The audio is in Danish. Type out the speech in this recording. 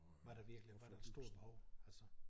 Var der virkelig var der et stort behov altså?